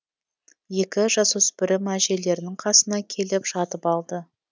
екі жасөспірім әжелерінің қасына келіп жатып алды